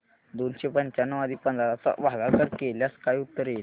दोनशे पंच्याण्णव आणि पंधरा चा भागाकार केल्यास काय उत्तर येईल